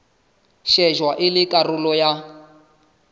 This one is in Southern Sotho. shejwa e le karolo ya